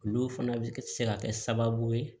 Olu fana bɛ se ka kɛ sababu ye